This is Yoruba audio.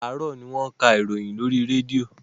Àràárọ̀ ni wọ́n ka ìròyìn lórí rédíò.